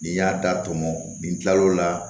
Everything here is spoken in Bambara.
Nin y'a da tɔmɔ nin tilal'o la